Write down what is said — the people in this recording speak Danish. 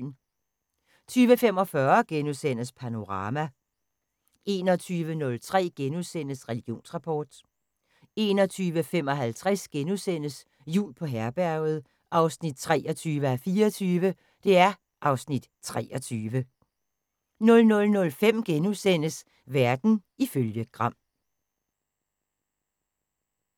20:45: Panorama * 21:03: Religionsrapport * 21:55: Jul på Herberget 23:24 (Afs. 23)* 00:05: Verden ifølge Gram *